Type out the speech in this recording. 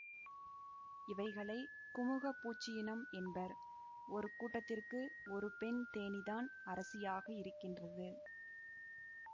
இவைகளை குமுகப் பூச்சியினம் என்பர் ஒரு கூட்டத்திற்கு ஒரு பெண் தேனீ தான் அரசியாக இருக்கின்றது